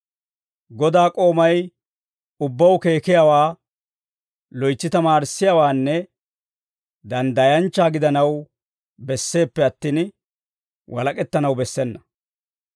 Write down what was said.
Godaa k'oomay ubbaw keekiyaawaa, loytsi tamaarissiyaawaanne danddayanchcha gidanaw besseeppe attin, walak'ettanaw bessena.